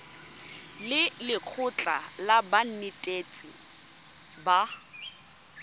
le lekgotlha la banetetshi ba